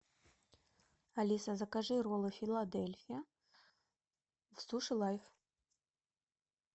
алиса закажи роллы филадельфия в суши лайв